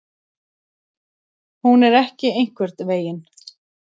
Hún er ekki einhvern veginn.